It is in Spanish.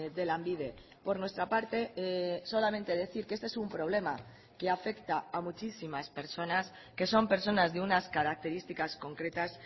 de lanbide por nuestra parte solamente decir que este es un problema que afecta a muchísimas personas que son personas de unas características concretas